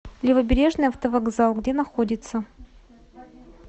левобережный автовокзал где находится